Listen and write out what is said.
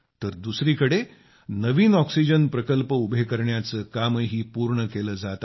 तर दुसरीकडं नवीन ऑक्सिजन प्रकल्प उभे करण्याचं कामही पूर्ण केलं जात आहे